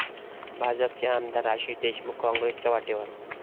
भाजपचे आमदार आशिष देशमुख काँग्रेसच्या वाटेवर?